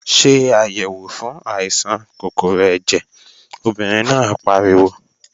Ṣé àyèwò fún àìsàn kòkòrò ẹ̀jẹ̀, obìnrin náà pariwo!